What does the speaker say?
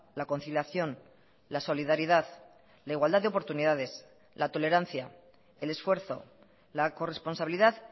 la conciliación la solidaridad la igualdad de oportunidades la tolerancia el esfuerzo la corresponsabilidad